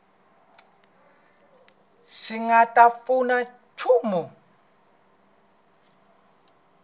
swi nga ta pfuna nchumu